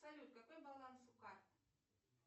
салют какой баланс у карты